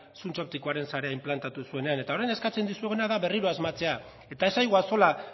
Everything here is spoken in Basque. zuntz optikoaren sarea inplantatu zuenean eta orain eskatzen dizueguna da berriro asmatzea eta ez zaigu axola